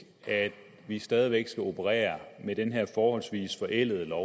at vi stadig væk skal operere med den her forholdsvis forældede lov